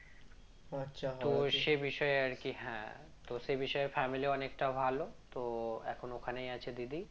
ও আচ্ছা তো সে বিষয়ে আরকি হ্যাঁ তো সে বিষয়ে family অনেকটা ভালো তো এখন ওখানে আছে দিদি